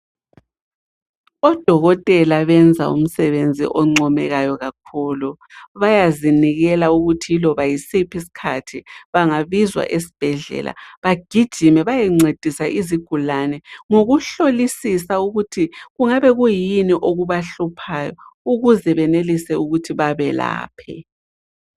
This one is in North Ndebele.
Odokotela benza umsebenzi oncomekayo kakhulu. Bayazinikela ukuthi yiloba yisiphi isikhathi bangabizwa esibhedlela bagijime bayencedisa izigulane ngokuhlolisisa ukuthi kungabe kuyini okubahluphayo ukuze benelise ukuthi babelaphe.